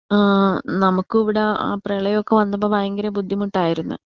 ആ നമ്മുക്ക് ഇവിടെ ആ പ്രളയൊക്കെ വന്നപ്പോ ഭയങ്കര ബുദ്ധിമുട്ടായിരുന്ന്.